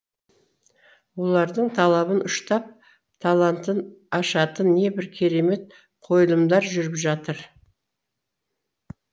олардың талабын ұштап талантын ашатын небір керемет қойылымдар жүріп жатыр